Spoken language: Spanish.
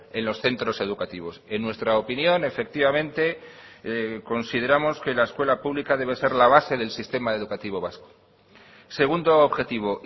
en los centros educativos en nuestra opinión efectivamente consideramos que la escuela pública debe ser la base del sistema educativo vasco segundo objetivo